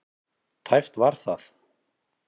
Tæpt var það.